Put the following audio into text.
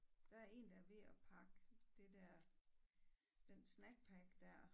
Der er en der er ved at pakke det dér den snack pack dér